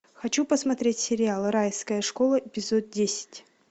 хочу посмотреть сериал райская школа эпизод десять